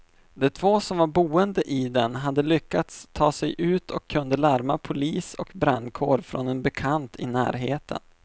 De två som var boende i den hade lyckats ta sig ut och kunde larma polis och brandkår från en bekant i närheten.